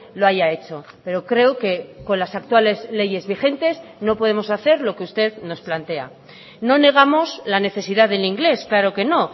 lo haya hecho pero creo que con las actuales leyes vigentes no podemos hacer lo que usted nos plantea no negamos la necesidad del inglés claro que no